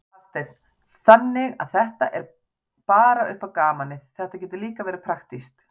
Hafsteinn: Þannig að þetta er ekki bara upp á gamanið, þetta getur líka verið praktískt?